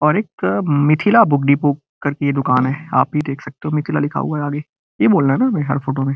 और एक Mithila book Deepu depot करके दुकान है आप भी देख सकते हो मिथिला लिखा हुआ है आगे यही बोलना है न भई हर फोटो में।